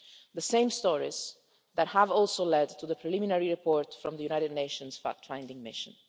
Those stories have also led to the preliminary report from the United Nations fact finding mission.